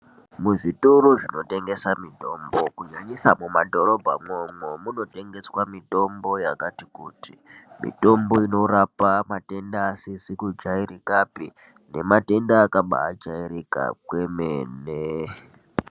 Muzvitoro zvinotengesa mitombo kunyanyisa mumadhorobhamwo umwomwo munotengeswa mitombo yakati kuti mitombo inorapa matenda asizikujairikapi nematenda akaba ajairika kwemene.